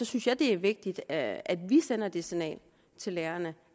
synes jeg det er vigtigt at vi sender det signal til lærerne